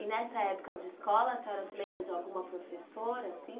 E nessa época de escola, a senhora se lembra de alguma professora assim?